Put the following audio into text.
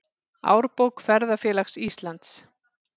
Árbók Ferðafélags Íslands.